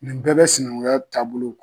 Nin bɛɛ bɛ sinaŋuya taabolo